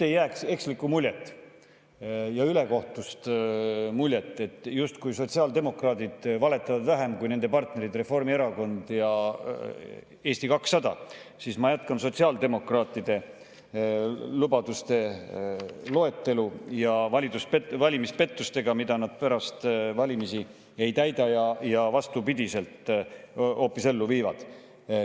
Et ei jääks ekslikku ja ülekohtust muljet, justkui sotsiaaldemokraadid valetaksid vähem kui nende partnerid Reformierakond ja Eesti 200, siis ma jätkan sotsiaaldemokraatide lubaduste loetelu ja valimispettusi, seda, mida nad pärast valimisi ei täida ja hoopis vastupidiselt ellu viivad.